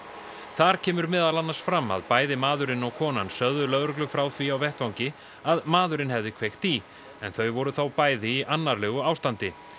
þar kemur meðal annars fram að bæði maðurinn og konan sögðu lögreglu frá því á vettvangi að maðurinn hefði kveikt í en þau voru þá bæði í annarlegu ástandi